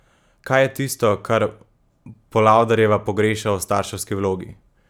Kaj je tisto, kar Polavderjeva pogreša v starševski vlogi?